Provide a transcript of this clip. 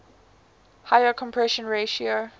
higher compression ratio